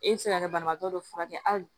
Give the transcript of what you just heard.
E bɛ se ka kɛ banabaatɔ dɔ furakɛ hali